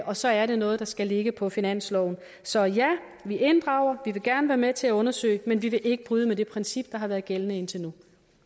og så er det noget der skal ligge på finansloven så ja vi inddrager vi vil gerne være med til at undersøge men vi vil ikke bryde med det princip der har været gældende indtil